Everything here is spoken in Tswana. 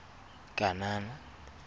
kanana